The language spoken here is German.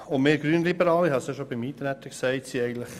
Auch die Grünliberalen sind einstimmig gegen diese Anträge.